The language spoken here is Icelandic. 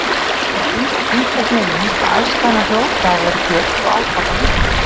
Mér finnst einhvernveginn að æska hennar hljóti að hafa verið björt og átakalítil.